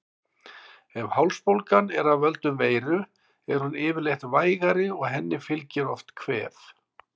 Ef hálsbólgan er af völdum veiru er hún yfirleitt vægari og henni fylgir oft kvef.